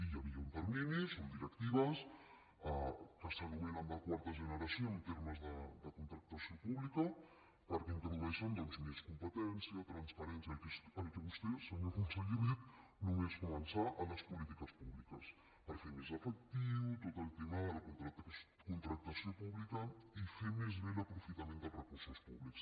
hi havia uns terminis unes directives que s’anomenen de quarta generació en termes de contractació pública perquè introdueixen doncs més competència transparència el que vostè senyor conseller ha dit només començar a les polítiques públiques per fer més efectiu tot el tema de la contractació pública i fer més bé l’aprofitament dels recursos públics